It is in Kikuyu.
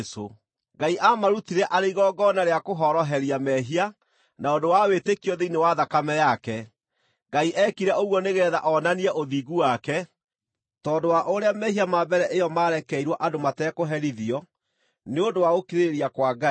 Ngai aamũrutire arĩ igongona rĩa kũhoroheria mehia na ũndũ wa wĩtĩkio thĩinĩ wa thakame yake. Ngai eekire ũguo nĩgeetha onanie ũthingu wake, tondũ wa ũrĩa mehia ma mbere ĩyo maarekeirwo andũ matekũherithio, nĩ ũndũ wa gũkirĩrĩria kwa Ngai,